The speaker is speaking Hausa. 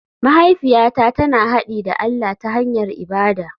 Mahaifiyata tana haɗi da allah ta hanyar ibada.